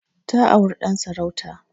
Ta auri Dan sarauta.